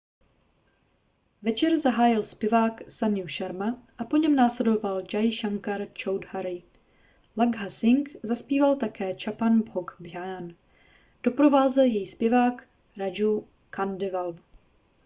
večer zahájil zpěvák sanju sharma a po něm následoval jai shankar choudhary lakkha singh zazpíval také chhappan bhog bhajan doprovázel jej zpěvák raju khandelwal